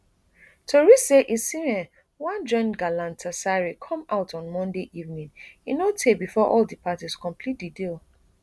tori say osimhen wan join galatasaray come out on monday evening e no tey bifor all di parties complete di deal